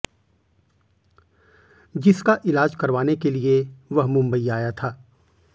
जिसका इलाज करवाने के लिए वह मुंबई आया था